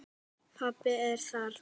Pabbi er þarna.